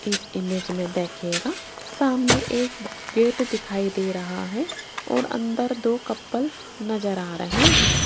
इस इमेज में देखिएगा सामने एक गेट दिखाई दे रहा है और अंदर दो कपल नजर आ रहे हैं।